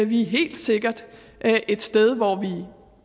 vi er helt sikkert et sted hvor vi i